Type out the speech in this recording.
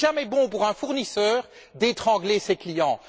Il n'est jamais bon, pour un fournisseur, d'étrangler ses clients.